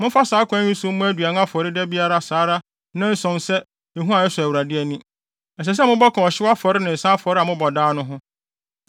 Momfa saa kwan yi so mmɔ aduan afɔre da biara saa ara nnanson sɛ ehua a ɛsɔ Awurade ani; ɛsɛ sɛ mobɔ ka ɔhyew afɔre ne nsa afɔre a mobɔ daa no ho.